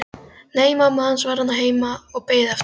Nei, mamma hans var þarna heima og beið eftir honum.